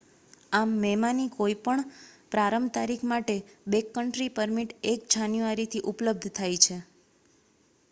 આમ મેમાંની કોઈ પણ પ્રારંભ તારીખ માટે બૅકકન્ટ્રી પરમિટ 1 જાન્યુઆરીથી ઉપલબ્ધ થાય છે